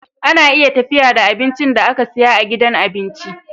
Ana iya tafiya da abincin da aka siya a gidan abinci